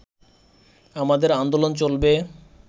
আমাদের আন্দোলন চলবে